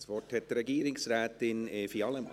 Das Wort hat Regierungsrätin Evi Allemann.